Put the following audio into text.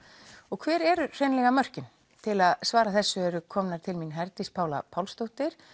og hver eru hreinlega mörkin til að svara þessu eru komnar til mín Herdís Pála Pálsdóttir